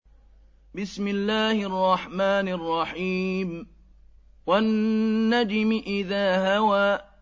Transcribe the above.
وَالنَّجْمِ إِذَا هَوَىٰ